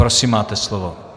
Prosím, máte slovo.